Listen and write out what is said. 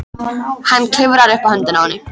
Hann klifrar upp á höndina á henni.